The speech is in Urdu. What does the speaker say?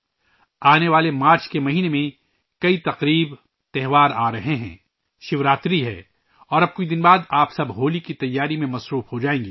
آنے والے مارچ کے مہینے میں بہت سے تہوار آ رہے ہیں شیو راتری آ رہی ہے اور اب کچھ دنوں کے بعد آپ سب ہولی کی تیاری میں مصروف ہو جائیں گے